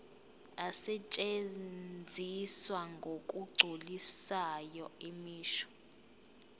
asetshenziswa ngokugculisayo imisho